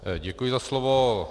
Děkuji za slovo.